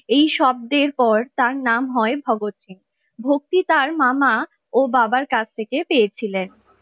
এই শব্দের পর তার নাম হয় ভগৎ সিং ভক্তি তার মামা ও বাবার কাছ থেকে পেয়েছিলেন ।